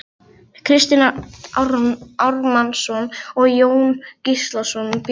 Kristinn Ármannsson og Jón Gíslason bjuggu til prentunar.